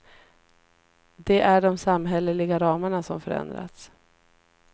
Det är de samhälleliga ramarna som förändrats.